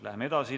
Läheme edasi.